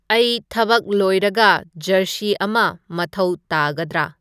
ꯑꯩ ꯊꯕꯛ ꯂꯣꯏꯔꯒ ꯖꯔꯁꯤ ꯑꯃ ꯃꯊꯧ ꯇꯥꯒꯗꯔꯥ